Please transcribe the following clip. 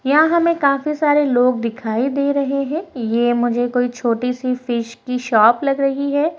यहाँ हमें काफी सारे लोग दिखाई दे रहे हैं ये मुझे कोई छोटी सी फिश की शॉप लग रही है।